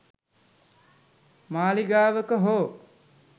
මාලිගාවක හෝ